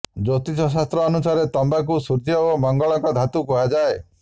ଜ୍ୟୋତିଷଶାସ୍ତ୍ର ଅନୁସାରେ ତମ୍ବାକୁ ସୂର୍ୟ୍ୟ ଓ ମଙ୍ଗଳଙ୍କ ଧାତୁ କୁହାଯାଏ